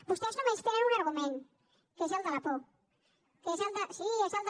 vostès només tenen un argument que és el de la por que és el de